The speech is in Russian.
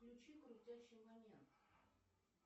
включи крутящий момент